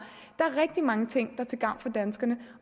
der er rigtig mange ting er til gavn for danskerne